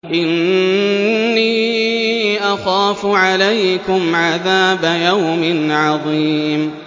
إِنِّي أَخَافُ عَلَيْكُمْ عَذَابَ يَوْمٍ عَظِيمٍ